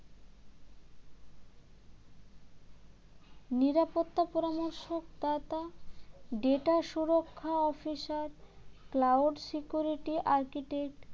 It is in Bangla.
নিরাপত্তা পরামর্শদাতা data সুরক্ষা officer cloud security architect